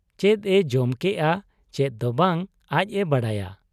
ᱪᱮᱫ ᱮ ᱡᱚᱢ ᱠᱮᱜ ᱟ ᱪᱮᱫ ᱫᱚ ᱵᱟᱝ, ᱟᱡ ᱮ ᱵᱟᱰᱟᱭᱟ ᱾